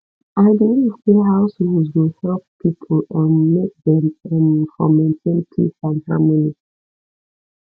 i believe sey house rules go help pipo um make dem um for maintain peace and harmony